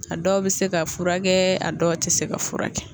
A dɔw bɛ se ka furakɛ a dɔw tɛ se ka furakɛ